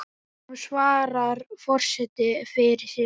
Nú svarar forseti fyrir sig.